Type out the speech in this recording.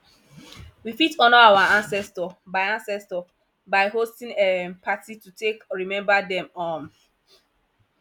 we fit honour our ancestor by ancestor by hosting um party to take remember them um